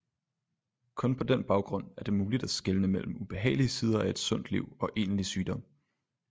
Kun på den baggrund er det muligt at skelne mellem ubehagelige sider af et sundt liv og egentlig sygdom